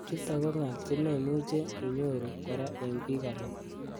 Chutok ko ngal chememuchi inyoru kora eng bik alak.